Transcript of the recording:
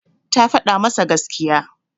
Ta faɗa masa gaskiya.